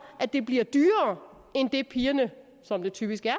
at det bliver dyrere end det pigerne som det typisk er